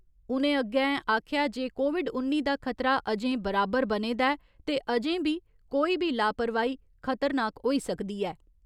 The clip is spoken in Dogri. उ'नें अग्गें आखेआ जे कोविड उन्नी दा खतरा अजें बराबर बने दा ऐ ते अजें बी कोई बी लापरवाही खतरनाक होई सकदी ऐ।